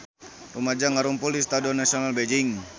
Rumaja ngarumpul di Stadion Nasional Beijing